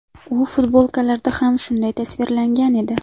U futbolkalarda ham shunday tasvirlangan edi .